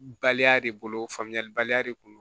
Baliya de bolo famuyali baliya de kun do